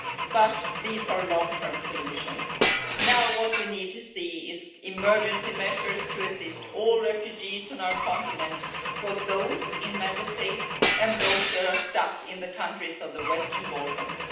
but these are long term solutions. What we need to see now are emergency measures to assist all refugees on our continent both those in Member States and those who are stuck in the countries of the Western Balkans.